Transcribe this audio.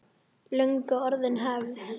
Löngu orðin hefð.